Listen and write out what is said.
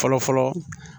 Fɔlɔ fɔlɔ